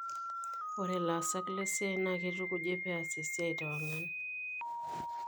Ore ilaasak lesiai naa keitukuji peas esiai tewang'an.